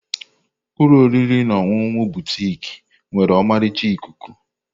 Ụlọ oriri na ọṅụṅụ Butik nwere ọmarịcha ikuku.